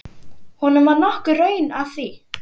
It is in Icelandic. Honum var nokkur raun að því.